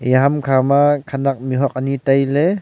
eya ham kha ma khanak mih huat ani tai ley.